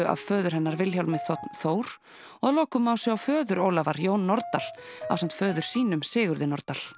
af föður hennar Vilhjálmi þ Þór og að lokum má sjá föður Ólafar Jón Nordal ásamt föður sínum Sigurði Nordal